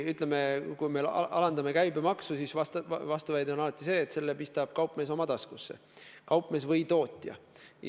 Ütleme, kui me soovime alandada käibemaksu, siis vastuväide on alati see, et selle kasu pistab kaupmees oma taskusse – kaupmees või tootja.